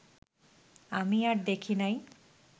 আমি আর দেখি নাই